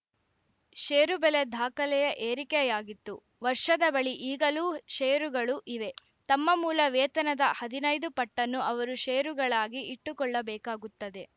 ಷೇರು ಬೆಲೆ ದಾಖಲೆಯ ಏರಿಕೆಯಾಗಿತ್ತುವರ್ಷದ ಬಳಿ ಈಗಲೂ ಷೇರುಗಳು ಇವೆ ತಮ್ಮ ಮೂಲ ವೇತನದ ಹದಿನೈದು ಪಟ್ಟನ್ನು ಅವರು ಷೇರುಗಳಾಗಿ ಇಟ್ಟುಕೊಳ್ಳಬೇಕಾಗುತ್ತದೆ